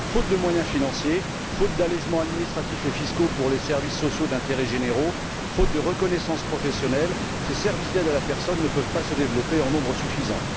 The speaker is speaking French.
Faute de moyens financiers, faute d'allégements administratifs et fiscaux pour les services sociaux d'intérêt généraux, faute de reconnaissance professionnelle, ces services d'aide à la personne ne peuvent pas se développer en nombre suffisant.